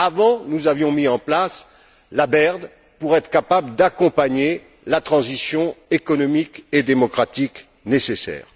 Mais avant, nous avions mis en place la BERD pour être capables d'accompagner la transition économique et démocratique nécessaire.